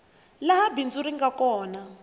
laha bindzu ri nga kona